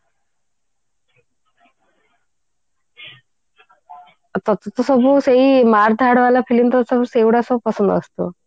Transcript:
ଆଉ ତତେ ତ ସବୁ ସେଇ ମାର third ବାଲା film ତତେ ସବୁ ସେଇଗୁଡା ସବୁ ପସନ୍ଦ ଆସୁଥିବ